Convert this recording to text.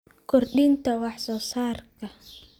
kordhinta wax soo saarka.